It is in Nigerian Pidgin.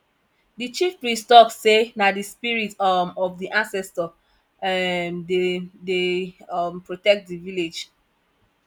di chiefpriest tok sey na di spirit um of di ancestor um dem dey um protect di village